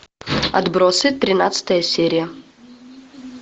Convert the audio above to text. отбросы тринадцатая серия